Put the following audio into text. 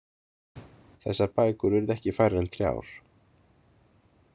Þessar bækur urðu ekki færri en þrjár.